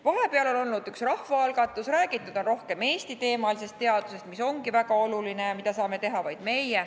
Vahepeal on olnud üks rahvaalgatus, räägitud on rohkem Eesti-teemalisest teadusest, mis ongi väga oluline ja mida saame teha vaid meie.